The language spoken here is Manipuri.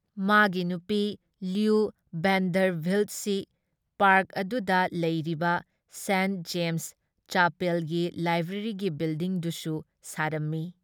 ꯃꯥꯒꯤ ꯅꯨꯄꯤ ꯂꯨꯏ ꯚꯦꯟꯗꯔꯚꯤꯜꯠꯁꯤ ꯄꯥꯔꯛ ꯑꯗꯨꯗ ꯂꯩꯔꯤꯕ ꯁꯦꯟꯠ ꯖꯦꯝꯁ ꯆꯥꯄꯦꯜꯒꯤ ꯂꯥꯏꯕ꯭ꯔꯦꯔꯤꯒꯤ ꯕꯤꯜꯗꯤꯡꯗꯨꯁꯨ ꯁꯥꯔꯝꯃꯤ ꯫